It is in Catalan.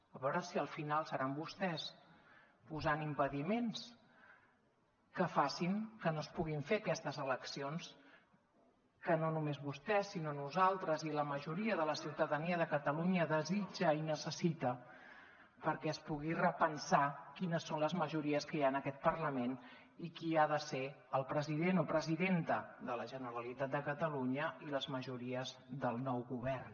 a veure si al final seran vostès posant impediments que facin que no es puguin fer aquestes eleccions que no només vostè sinó nosaltres i la majoria de la ciutadania de catalunya desitja i necessita perquè es pugui repensar quines són les majories que hi ha en aquest parlament i qui ha de ser el president o presidenta de la generalitat de catalunya i les majories del nou govern